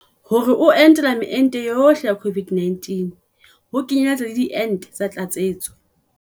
Hore o entela meento yohle ya COVID-19, ho kenyeletsa le diente tsa tlatsetso.